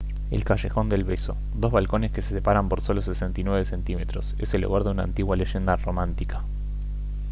el callejón del beso dos balcones que se separan por solo 69 cm es el hogar de una antigua leyenda romántica